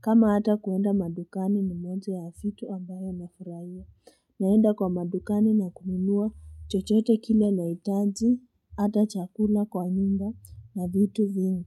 kama hata kuenda madukani ni mwanzo ya vitu ambayo nafurahia. Naenda kwa madukani na kununua chochote kile nahitaji, hata chakula kwa nyumba na vitu vingi.